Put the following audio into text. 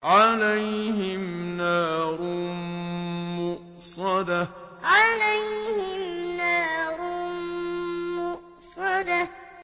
عَلَيْهِمْ نَارٌ مُّؤْصَدَةٌ عَلَيْهِمْ نَارٌ مُّؤْصَدَةٌ